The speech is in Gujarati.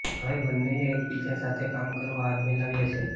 હવે બંનેએ એકબીજા સાથે કામ કરવા હાથ મિલાવ્યા છે